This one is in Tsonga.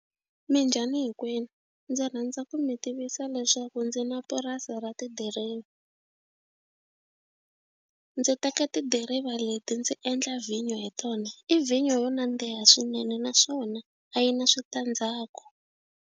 Minjhani hinkwenu ndzi rhandza ku mi tivisa leswaku ndzi na purasi ra tidiriva. Ndzi teka tidiriva leti ndzi endla vhinyo hi tona i vhinyo yo nandziha swinene naswona a yi na switandzhaku.